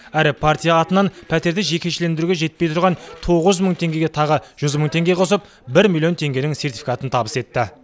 әрі партия атынан пәтерді жекешелендіруге жетпей тұрған тоғыз мың теңгеге тағы жүз мың теңге қосып бір миллион теңгенің сертификатын табыс етті